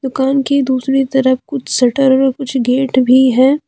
दुकान के दूसरी तरफ कुछ शटर व कुछ गेट भी हैं।